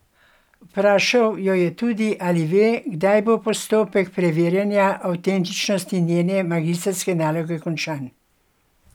Vprašal jo je tudi, ali ve, kdaj bo postopek preverjanja avtentičnosti njene magistrske naloge končan.